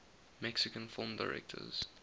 mexican film directors